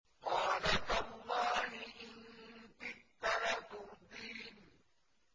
قَالَ تَاللَّهِ إِن كِدتَّ لَتُرْدِينِ